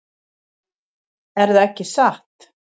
Erða ekki satt?